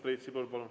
Priit Sibul, palun!